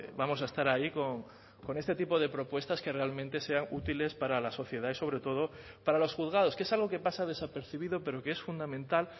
vamos a estar ahí con este tipo de propuestas que realmente sean útiles para la sociedad y sobre todo para los juzgados que es algo que pasa desapercibido pero que es fundamental